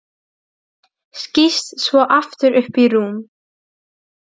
Skýst svo aftur upp í rúm.